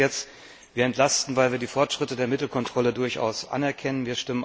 Darum geht es jetzt. Wir entlasten, weil wir die Fortschritte bei der Mittelkontrolle durchaus anerkennen.